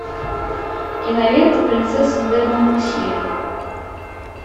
кинолента принцесса де монпансье